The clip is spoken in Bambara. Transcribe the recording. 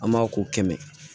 An b'a ko kɛmɛ